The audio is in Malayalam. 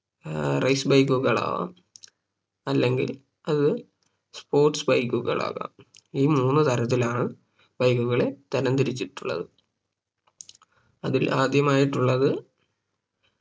ഏർ Race bike കളാവാം അല്ലങ്കിൽ അത് sports bike കളാകാം ഈ മൂന്ന് തരത്തിലാണ് Bike കളെ തരം തിരിച്ചിട്ടുള്ളത് അതിൽ ആദ്യമായിട്ടുള്ളത്